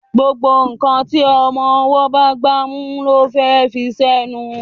gbógbó nkán tí ọmọ ọwo bá gbámú ló fé fí ṣe nù